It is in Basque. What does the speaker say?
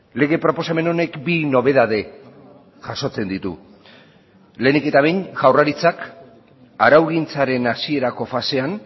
lege proposamen honek bi nobedade jasotzen ditu lehenik eta behin jaurlaritzak araugintzaren hasierako fasean